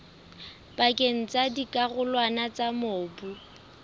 pakeng tsa dikarolwana tsa mobu